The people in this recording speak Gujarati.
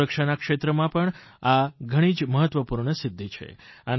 સુરક્ષાના ક્ષેત્રમાં આ ઘણી જ મહત્વપૂર્ણ સિદ્ધિ છે